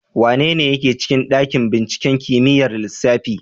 Wanene yake cikin ɗaƙin ɓinciƙen kimiƴar lissafi.